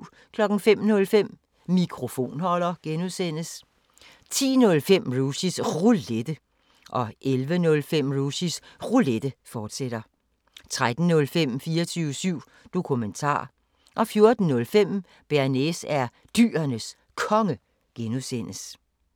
05:05: Mikrofonholder (G) 10:05: Rushys Roulette 11:05: Rushys Roulette, fortsat 13:05: 24syv Dokumentar 14:05: Bearnaise er Dyrenes Konge (G)